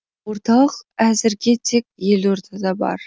орталық әзірге тек елордада бар